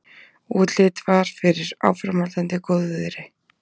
Útlit var fyrir áframhaldandi góðviðri.